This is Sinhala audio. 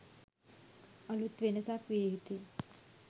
අලූත් වෙනසක් විය යුතුය